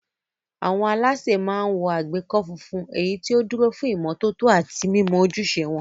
Àwọn alásè máa ń wọ àgbékọ́ funfun, èyí tó dúró fún ìmọ́tótó àti mímọ ojúṣe wọn.